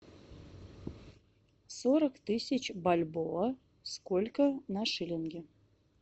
сорок тысяч бальбоа сколько на шиллинги